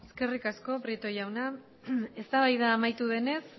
eskerrik asko prieto jauna eztabaida amaitu denez